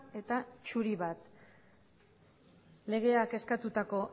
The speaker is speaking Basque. eta zuri bat legeak eskatutako